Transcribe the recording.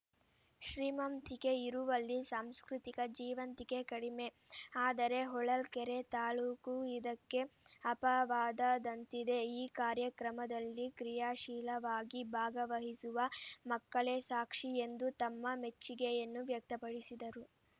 ಶ್ರೀಮಂತಿಕೆ ಇರುವಲ್ಲಿ ಸಾಂಸ್ಕೃತಿಕ ಜೀವಂತಿಕೆ ಕಡಿಮೆ ಆದರೆ ಹೊಳಲ್ಕೆರೆ ತಾಲೂಕು ಇದಕ್ಕೆ ಅಪವಾದದಂತಿದೆ ಈ ಕಾರ್ಯಕ್ರಮದಲ್ಲಿ ಕ್ರಿಯಾಶೀಲವಾಗಿ ಭಾಗವಹಿಸುವ ಮಕ್ಕಳೇ ಸಾಕ್ಷಿ ಎಂದು ತಮ್ಮ ಮೆಚ್ಚಿಗೆಯನ್ನು ವ್ಯಕ್ತಪಡಿಸಿದರು